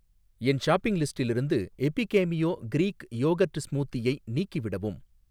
என் shopping லிஸ்டிலிருந்து Epigamia Greek yogurt ஸ்மூதியை நீக்கிவிடவும்